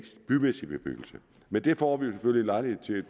bymæssig bebyggelse men det får vi jo selvfølgelig en lejlighed til